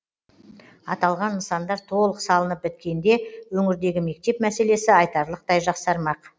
аталған нысандар толық салынып біткенде өңірдегі мектеп мәселесі айтарлықтай жақсармақ